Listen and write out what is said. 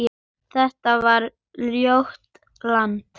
Þetta var ljótt land.